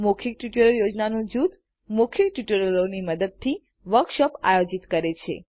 મૌખિક ટ્યુટોરીઅલ યોજનાનું જૂથ મૌખિક ટ્યુટોરીઅલોની મદદથી વર્કશોપ આયોજિત કરે છે